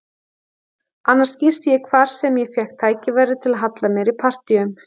Annars gisti ég hvar sem ég fékk tækifæri til að halla mér í partíum.